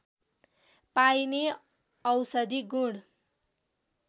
पाइने औषधि गुण